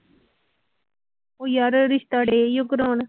ਉਹ ਯਾਰ ਰਿਸਤੇ ਡੇ ਸੀ ਕਰਵਾਉਣ